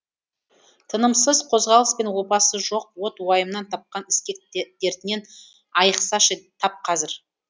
тынымсыз қозғалыс пен опасы жоқ от уайымнан тапқан іскек дертінен айықсашы тап қазір